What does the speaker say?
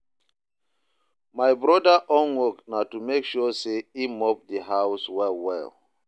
my broda own work na to mek sure say him mop the house well well